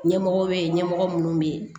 Ɲɛmɔgɔ bɛ yen ɲɛmɔgɔ minnu bɛ yen